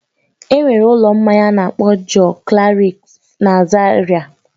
Enwere ụlọ mmanya a na-akpọ Joklarif na Zaria